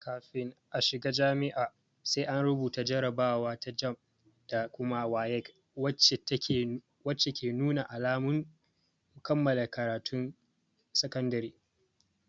Kafin a shiga jami'a, sai an rubuta jarabawa ta "JAMB" da kuma "WAEC" wacce ke nuna alamun kammala karatun sakandare.